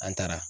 An taara